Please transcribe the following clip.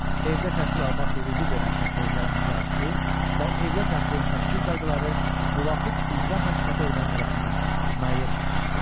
Evdə təhsil almaq hüququ verən xəstəliklərin siyahısı və evdə təhsilin təşkil qaydaları müvafiq icra hakimiyyəti orqanı tərəfindən müəyyən edilir.